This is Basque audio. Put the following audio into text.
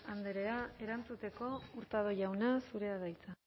andrea erantzuteko hurtado jauna zurea da hitza